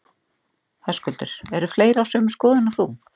Höskuldur: Eru fleiri á sömu skoðun og þú?